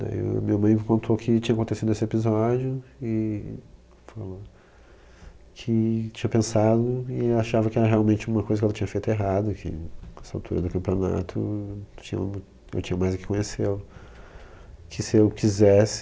Daí a minha mãe me contou o que tinha acontecido nesse episódio e falou que tinha pensado e achava que era realmente uma coisa que ela tinha feito errado enfim, que nessa altura do campeonato tinha, eu tinha mais é que conhecê-lo, que se eu quisesse